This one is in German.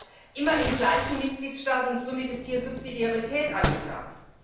Er bleibt immer im gleichen Mitgliedstaat, und somit ist hier Subsidiarität angesagt.